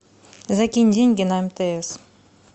закинь деньги на мтс